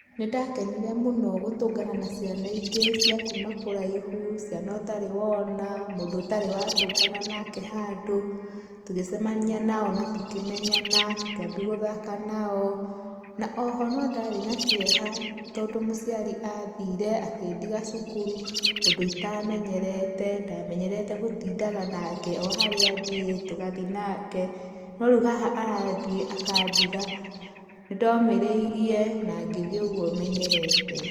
Nĩ ndakenire mũno gũtũngana na ciana ingĩ cia kuuma kũraĩhũ, ciana ũtarĩ wona, mũndũ ũtarĩ wa tũngana nake handũ tũgĩcemania nao na tũkĩmenyana, tũkĩambia gũthaka na o na o ho no ndarĩ na kĩeha, tondũ mũciari athĩire akĩndĩga cukuru ũndũ itamenyerete, ndamenyerete gũtindaga nake o harĩa athiĩ tũgathĩaga nake no reũ haha arathiĩ akandiga, nĩ ndomĩrĩirie na ngĩthiĩ ũgũo menyerete.